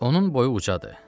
Onun boyu ucadır.